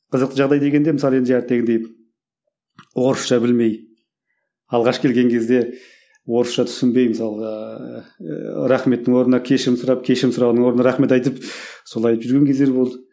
қызықты жағдай дегенде мысалы енді орысша білмей алғаш келген кезде орысша түсінбей мысалға ыыы рахметтің орнына кешірім сұрап кешірім сұрағанның орнына рахмет айтып солай айтып жүрген кездер болды